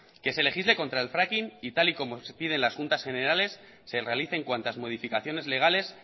que se legisle contra el fracking y tal y como se piden en la juntas generales se realicen cuantas modificaciones legales